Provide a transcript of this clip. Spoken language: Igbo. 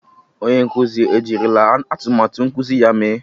Onye nkuzi ejirila atụmatụ nkuzi ya mee?